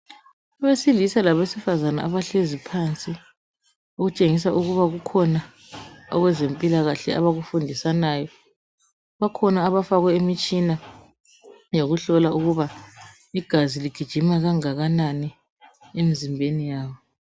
Abesilisa labesifazana abahlezi phansi okutshengisa ukuba kukhona okwezempilakahle abakufundisanayo bakhona abafakwe imitshina yokuhlola ukuba igazi ligijima kangakanani emzimbeni yabo.